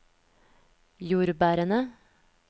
jordbærene